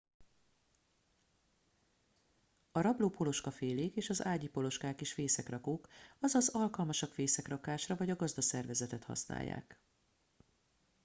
a rabló poloskafélék és az ágyi poloskák is fészekrakók azaz alkalmasak fészekrakásra vagy a gazdaszervezetet használják